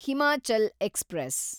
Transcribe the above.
Himachal express